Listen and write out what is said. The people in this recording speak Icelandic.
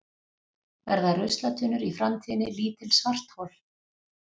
Verða ruslatunnur í framtíðinni lítil svarthol?